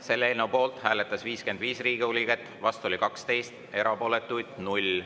Selle eelnõu poolt hääletas 55 Riigikogu liiget, vastu oli 12, erapooletuid 0.